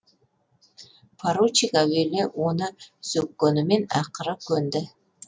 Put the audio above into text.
поручик әуелі оны сөккенімен ақыры көнді